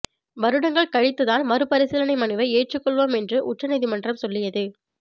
வருடங்கள் கழித்து தான் மறுபரிசீலனை மனுவை ஏற்றுக்கொள்வோம் என்று உச்சநீதிமன்றம் சொல்லியது